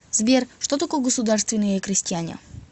сбер что такое государственные крестьяне